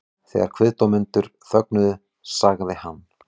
Þegar kviðdómendur þögnuðu sagði hann